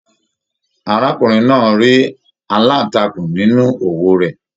Arákùnrin náà rí aláǹtakùn nínú òwú rẹ̀